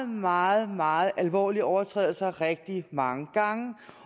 meget meget alvorlige overtrædelser rigtig mange gange